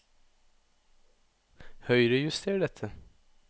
Høyrejuster dette